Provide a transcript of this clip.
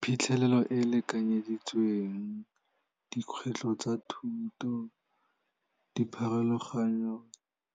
Phitlhelelo e lekanyeditsweng, dikgwetlho tsa thuto, dipharologanyo